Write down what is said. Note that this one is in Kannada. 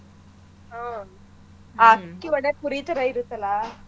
ಹ್ಮ್ ಆ ಅಕ್ಕಿ ಒಳ್ಳೆ ಪುರಿ ಥರಾ ಇರತ್ತಲಾ.